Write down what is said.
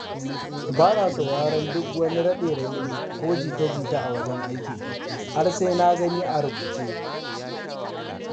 Bana sauraron duk wani raɗe-raɗi ko jita-jita a wajen aiki, har sai na gani a rubuce.